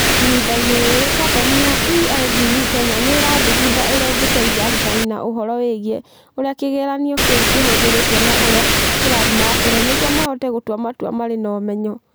Ihinda-inĩ rĩrĩ, kambuni ya EIDU Kenya nĩ ĩrathugunda ũrĩa ĩngĩteithia arutani na ũhoro wĩgiĩ ũrĩa kĩgeranio kĩu kĩhũthĩrĩtwo na ũrĩa kĩrathiĩ na mbere nĩguo mahote gũtua matua marĩ na ũmenyo.